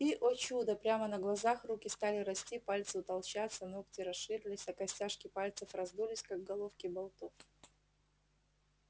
и о чудо прямо на глазах руки стали расти пальцы утолщаться ногти расширились а костяшки пальцев раздулись как головки болтов